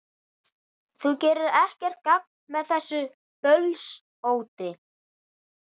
Þú gerir ekkert gagn með þessu bölsóti,